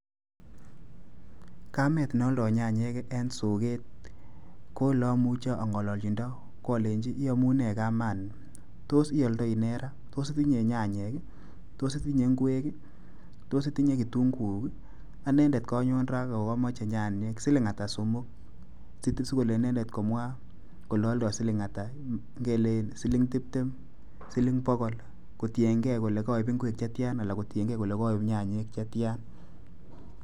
Kamet ne aldoi nyanyek eng soket ko ole amuchi angalaljindo ko alenji "iamune kamani, tos ialdoi ne ra? tos itinye nyanyek? tos itinye ng'wek? tos iyinye kitunguuk? anendet konyon ra ako kamoche nyanyek. Siling ata somoku?". Sikole inendet komwa kole aldoi siling' ata. Ngele siling tiptem, sling' pokol kotiengei kole koiib ing'wek chetya alan kotiengei kole koiib nyanyek chetyan.